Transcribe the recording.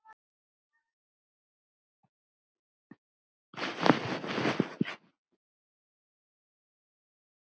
spyr Júlía allt í einu.